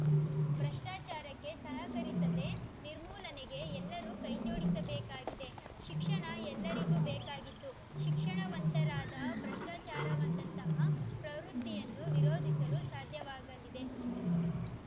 ಭ್ರಷ್ಟಾಚಾರಕ್ಕೆ ಸಹಕರಿಸದೆ ನಿರ್ಮೂಲನೆಗೆ ಎಲ್ಲರೂ ಕೈಜೋಡಿಸಬೇಕಾಗಿದೆ ಶಿಕ್ಷಣ ಎಲ್ಲರಿಗೂ ಬೇಕಾಗಿದ್ದು ಶಿಕ್ಷಣವಂತರಾದಾ ಭ್ರಷ್ಟಾಚಾರದಂತಹ ಪ್ರವೃತ್ತಿಯನ್ನು ವಿರೋಧಿಸಲು ಸಾಧ್ಯವಾಗಲಿದೆ